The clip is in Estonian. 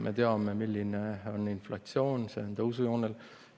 Me teame, milline on inflatsioon – see on tõusujoonel.